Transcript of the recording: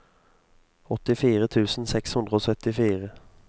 åttifire tusen seks hundre og syttifire